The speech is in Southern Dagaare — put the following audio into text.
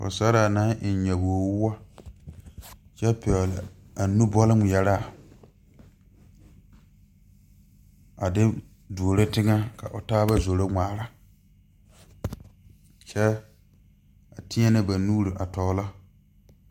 Pɔgesaraa naŋ eŋ nyabogwoɔ kyɛ pɛgle a nu bɔle ŋmeɛraa a de duoro teŋɛ ka o taaba zoro ŋmaara kyɛ a teɛnɛ ba nuuri a tɔglɔ.